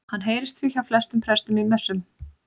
Hann heyrist því hjá flestum prestum í messum.